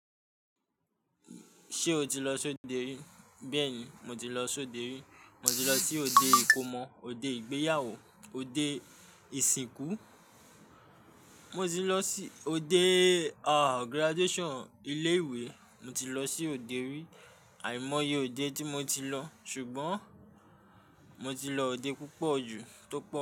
Ṣé o ti lọ sóde rí? Bẹ́ẹ̀ni, mo ti lọ sóde rí. Mo ti lọ sí òde ìkómọ, òde ìgbéyàwó, òde ìsìnkú, mo ti lọ sí òde, ah, graduation ilé ìwé. Mo ti lọ sí òde rí. Àìmọye òde tí mo ti lọ, ṣùgbọ́n mo ti lọ òde púpọ̀ jù tó pọ̀